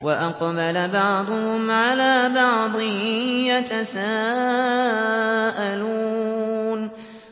وَأَقْبَلَ بَعْضُهُمْ عَلَىٰ بَعْضٍ يَتَسَاءَلُونَ